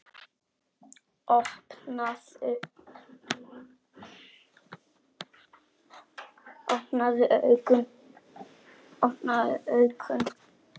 Opnaðu augun.